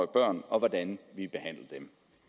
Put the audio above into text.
børn og hvordan